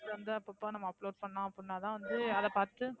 வந்து அப்பப்போ நம்ம upload பண்ணோம் அப்படின்னாதான் வந்து அதை பாத்துட்டு,